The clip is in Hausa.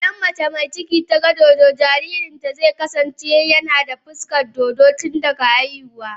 idan mace mai ciki ta ga dodo, jaririnta zai kasance yana da fuskar dodo tun daga haihuwa.